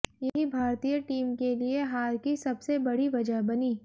यही भारतीय टीम के लिए हार की सबसे बड़ी वजह बनी